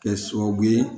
Kɛ sababu ye